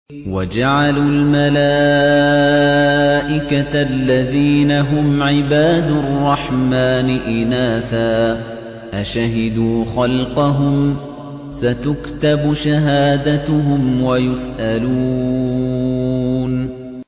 وَجَعَلُوا الْمَلَائِكَةَ الَّذِينَ هُمْ عِبَادُ الرَّحْمَٰنِ إِنَاثًا ۚ أَشَهِدُوا خَلْقَهُمْ ۚ سَتُكْتَبُ شَهَادَتُهُمْ وَيُسْأَلُونَ